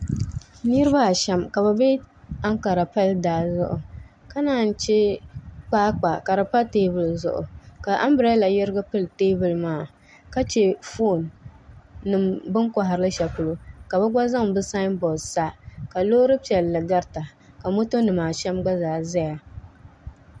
Niraba ashɛm ka bi bɛ ankara pali daa zuɣu ka naan chɛ kpaakpa ka di pa teebuli zuɣu ka anbirɛla yɛrigi pili teebuli maa ka chɛ foon ni bin koharili shɛli polo ka bi gba zaŋ bi sanbood sa ka loori piɛlli garita ka moto nimaa shɛm gba ʒɛya